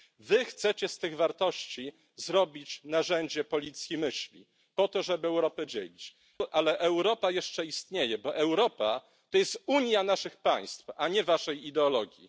Wy chcecie z tych wartości zrobić narzędzie policji myśli, po to żeby Europę dzielić, ale Europa jeszcze istnieje, bo Europa to jest unia naszych państw, a nie waszej ideologii.